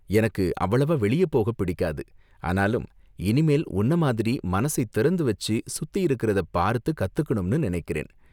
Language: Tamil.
எனக்கு அவ்வளவா வெளிய போக பிடிக்காது, ஆனாலும் இனிமேல் உன்ன மாதிரி மனசை திறந்து வச்சு சுத்தி இருக்கறத பார்த்து கத்துக்கணும்னு நினைக்கிறேன்.